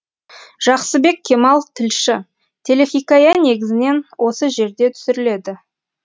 жақсыбек кемал тілші телехикая негізінен осы жерде түсіріледі